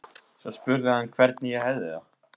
Svo spurði hann hvernig ég hefði það.